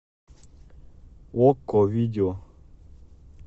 окко видео